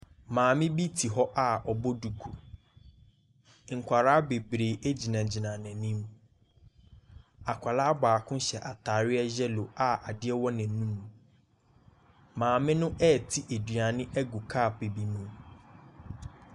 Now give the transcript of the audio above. Maame bi tse hɔ a ɔbɔ duku, nkwadaa bebree gyinagyina n’anim, akwadaa baako hyɛ ataadeɛ yellow a adeɛ wɔ n’anim. Maame no ɛrete aduane bi agu cup bi mu.